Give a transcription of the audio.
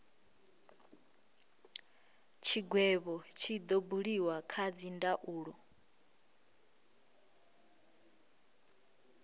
tshigwevho tshi do buliwa kha dzindaulo